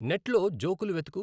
నెట్లో జోకులు వెతుకు